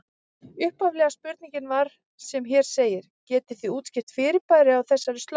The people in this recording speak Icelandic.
Upphaflega spurningin var sem hér segir: Getið þið útskýrt fyrirbærið á þessari slóð?